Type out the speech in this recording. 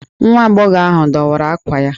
Nwa agbọghọ ahụ dọwara ákwà ya.